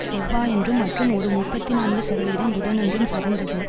செவ்வாயன்றும் மற்றும் ஒரு முப்பத்தி நான்கு சதவிகிதம் புதனன்றும் சரிந்தது